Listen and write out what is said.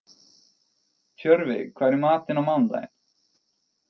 Tjörfi, hvað er í matinn á mánudaginn?